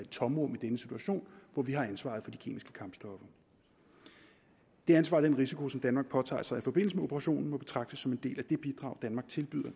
tomrum i denne situation hvor vi har ansvaret for de kemiske kampstoffer det ansvar og den risiko som danmark påtager sig i forbindelse med operationen må betragtes som en del af det bidrag danmark tilbyder